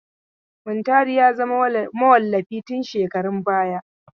Muntari ya zama mawallafi tun shekarun baya.